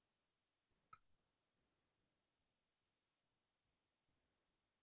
এইয়ে আৰু এনেকে কৈ থাকিলে শেষেই নহ'ব এটা এটাকৈ ওলাইয়ে থাকিব